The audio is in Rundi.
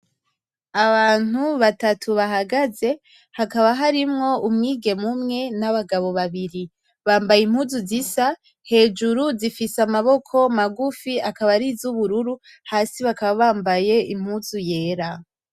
Abantu batatu bahagaze hakaba harimwo umwigeme umwe n’abagabo babiri. Bambaye impuzu zisa hejuru zifise amaboko magufi akaba arizubururu hasi bakaba bambaye impuzu yera.